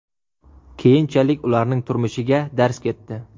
Keyinchalik ularning turmushiga darz ketdi.